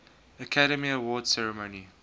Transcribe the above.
academy awards ceremony